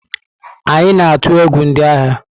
Anyị na-atụ egwu ndị agha.